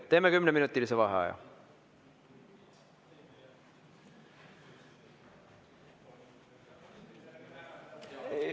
Teeme kümneminutilise vaheaja.